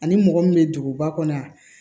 Ani mɔgɔ min bɛ duguba kɔnɔ yan